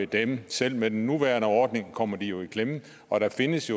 dem selv med den nuværende ordning kommer de jo i klemme og der findes